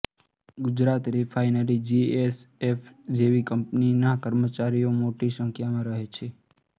Gujarat refinery G S F C જેવી કંપનીના કર્મચારીઓ મોટી સંખ્યામાં રહે છે